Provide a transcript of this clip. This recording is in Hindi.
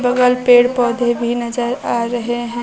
बगल पेड़ पौधे भी नजर आ रहे हैं।